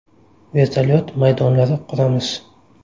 Vertolyuot maydonlari quramiz.